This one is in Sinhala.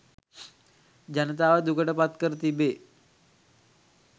ජනතාව දුකට පත් කර තිබේ